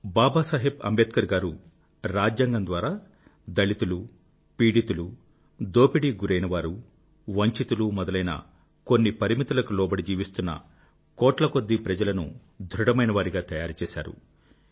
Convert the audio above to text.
బాబాసాహెబ్ అంబేద్కర్ గారు రాజ్యాంగం ద్వారా దళితులు పీడితులు దోపిడీకి గురైనవారు వంచితులు మొదలైన కొన్ని పరిమితులకు లోబడి జీవిస్తున్న కోట్ల కొద్దీ ప్రజలను ధృఢమైనవారిగా తయారు చేసారు